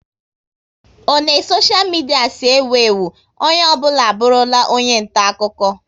O ne soshia midia si ewu ewu, onye ọ bụla abụrụla onye nta akụkọ